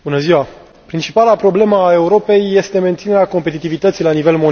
Principala problemă a Europei este menținerea competitivității la nivel mondial.